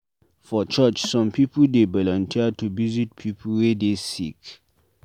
For church, some pipu dey volunteer to visit pipu wey dey sick.